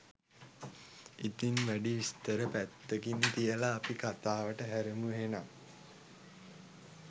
ඉතින් වැඩි විස්තර පැත්තකින් තියලා අපි කතාවට හැරෙමු එහෙනම්.